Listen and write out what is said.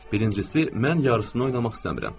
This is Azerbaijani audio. Birincisi, mən yarısını oynamaq istəmirəm.